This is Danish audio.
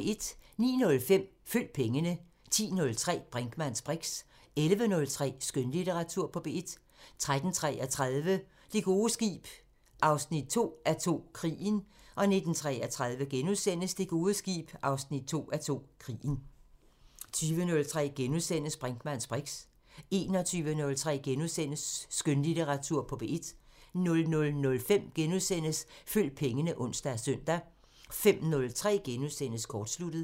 09:05: Følg pengene 10:03: Brinkmanns briks 11:03: Skønlitteratur på P1 13:33: Det gode skib 2:2 – Krigen 19:33: Det gode skib 2:2 – Krigen * 20:03: Brinkmanns briks * 21:03: Skønlitteratur på P1 * 00:05: Følg pengene *(ons og søn) 05:03: Kortsluttet *